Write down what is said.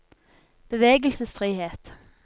bevegelsesfrihet